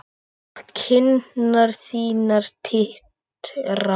Og kinnar þínar titra.